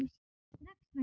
Strax næsta haust bara.